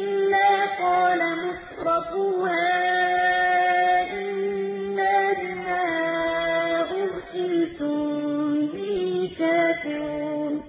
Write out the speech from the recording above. إِلَّا قَالَ مُتْرَفُوهَا إِنَّا بِمَا أُرْسِلْتُم بِهِ كَافِرُونَ